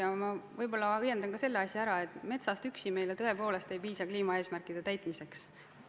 Ja ma võib-olla õiendan ka selle asja ära, et metsast üksi tõepoolest ei piisa kliimaeesmärkide täitmiseks.